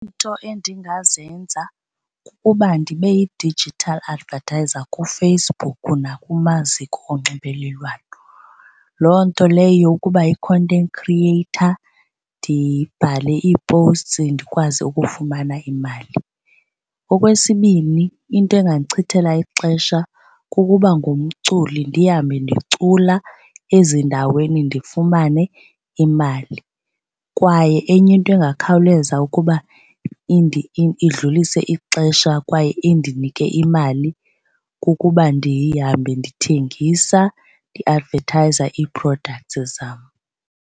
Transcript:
Iinto endingazenza kukuba ndibe yi-digital advertisor kuFacebook nakumaziko onxibelelwano. Loo nto leyo yokuba yi-content creator ndibhale ii-posts ndikwazi ukufumana imali. Okwesibini, into engandichithela ixesha kukuba ngumculi ndihambe ndicula ezindaweni ndifumane imali. Kwaye enye into engakhawuleza ukuba idlulise ixesha kwaye indinike imali kukuba ndihambe ndithengisa, ndiadvethayiza ii-products zam.